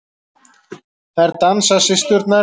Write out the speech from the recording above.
Þær dansa, systurnar.